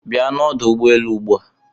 Bia n'ọdụ ụgbọelu ugbua.